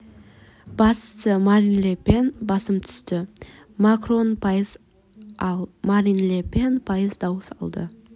басшысы марин ле пен басым түсті макрон пайыз ал марин ле пен пайыз дауыс алды